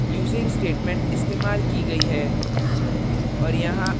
using statement इस्तेमाल की गयी है